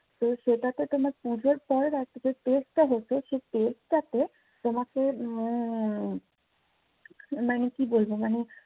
তো সেটাতে তোমার পুজোর পর একটা যে test টা হতো সে test টাতে তোমাকে উম মানে কি বলবো মানে